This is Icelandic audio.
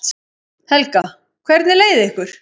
Helga: Hvernig leið ykkur?